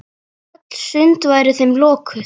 Öll sund væru þeim lokuð.